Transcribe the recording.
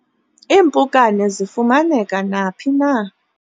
iimpukane zifumaneka naphi na